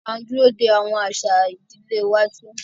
A n dúró de awọn aṣa ìdílé iwájú.